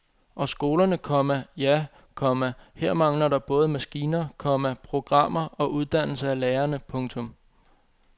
Og skolerne, komma ja, komma her mangler der både maskiner, komma programmer og uddannelse af lærerne. punktum